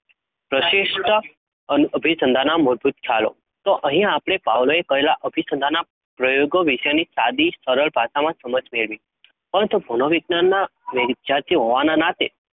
પ્રશિષ્ટ અનુ અભિસંધાનના મૂળભૂત ખ્યાલો. તો અહીં આપણે Pavlov એ કરેલા અભિસંધાનના પ્રયોગો વિશેની સાદી સરળ ભાષામાં સમજ મેળવી. પરંતુ મનોવિજ્ઞાનના ને વિદ્યાર્થી હોવાના નાતે